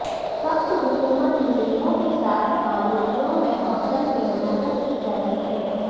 سخت حکومت مجرموں کے ساتھ کالونیوں میں ہاسٹل میں منعقد کی جاتی ہیں